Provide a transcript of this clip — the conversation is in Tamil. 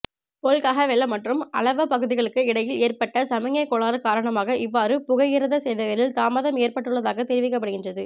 பொல்கஹவெல மற்றும் அளவ்வ பகுதிகளுக்கு இடையில் ஏற்பட்ட சமிக்ஞை கோளாறு காரணமாக இவ்வாறு புகையிரத சேவைகளில் தாமதம் ஏற்பட்டுள்ளதாக தெரிவிக்கப்படுகின்றது